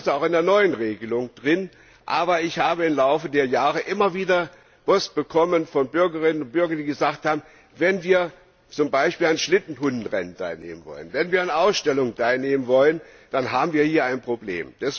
Das steht auch in der neuen Regelung, aber ich habe im Laufe der Jahre immer wieder Post von Bürgerinnen und Bürgern bekommen, die gesagt haben Wenn wir zum Beispiel an Schlittenhunderennen teilnehmen wollen, wenn wir an Ausstellungen teilnehmen wollen, dann haben wir hier ein Problem.